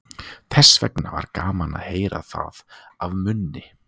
Þessvegna var gaman að heyra það af munni